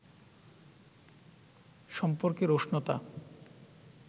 সম্পর্কের উষ্ণতা